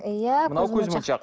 иә мынау көзмоншақ